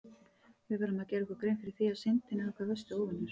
Við verðum að gera okkur grein fyrir því að Syndin er okkar versti óvinur!